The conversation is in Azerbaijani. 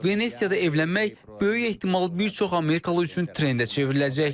Venesiyada evlənmək böyük ehtimal bir çox Amerikalı üçün trendə çevriləcək.